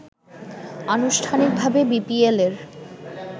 আনুষ্ঠানিকভাবে বিপিএল-এর